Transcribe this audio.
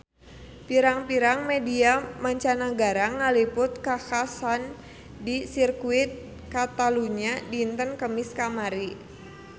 Pirang-pirang media mancanagara ngaliput kakhasan di Sirkuit Catalunya dinten Kemis kamari